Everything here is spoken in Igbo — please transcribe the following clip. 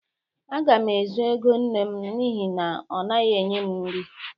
Aga m ezu ego nne m n'ihi na ọ naghị enye m nri.